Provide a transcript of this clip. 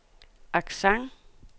accent